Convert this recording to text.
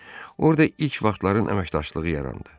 Orda ilk vaxtların əməkdaşlığı yarandı.